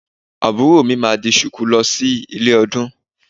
Àbúrò mi máa di Ṣùkú lọ sí ilé ọdún